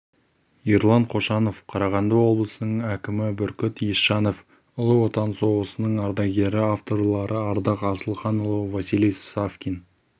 ерлан қошанов қарағанды облысының әкімі бүркіт есжанов ұлы отан соғысының ардагері авторлары ардақ асылханұлы василий савкин